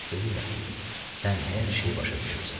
Bilirəm, sən hər şeyi başa düşürsən.